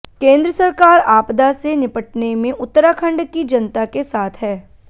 केंद्र सरकार आपदा से निपटने में उत्तराखण्ड की जनता के साथ है